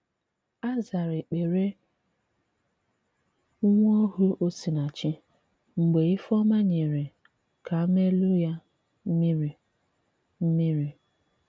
A zàrà èkpere nwa ohù Osinàchì mgbe Ifeoma nyere kaamelụ̀ ya mmìrị̀. mmìrị̀.